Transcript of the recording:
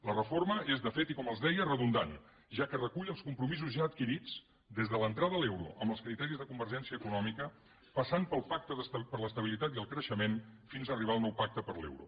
la reforma és de fet i com els deia redundant ja que recull els compromisos ja adquirits des de l’entrada a l’euro amb els criteris de convergència econòmica passant pel pacte per l’estabilitat i el creixement fins arribar al nou pacte per l’euro